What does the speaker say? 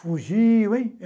Fugiu, hein?